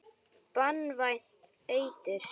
Banvænt eitur.